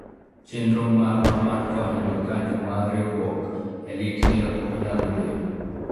chenro marwa mar konyo jokanyo mar riwruok e lit ne ok onyago olemo